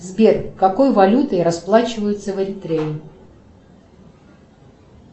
сбер какой валютой расплачиваются в эль трее